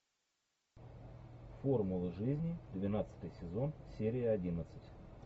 формула жизни двенадцатый сезон серия одиннадцать